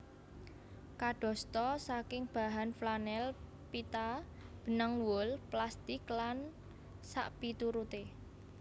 Kadosta saking bahan flanel pita benang wol plastik lan sakpituruté